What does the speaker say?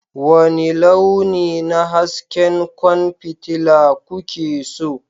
Wani launi na hasken kwan fitila kuke so?